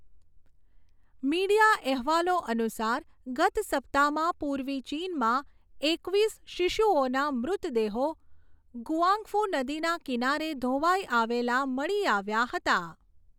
Media અહેવાલો અનુસાર, ગત સપ્તાહમાં પૂર્વી ચીનમાં એકવીસ શિશુઓના મૃતદેહો ગુઆંગફુ નદીના કિનારે ધોવાઈ આવેલા મળી આવ્યા હતા.